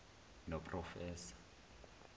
noprofessor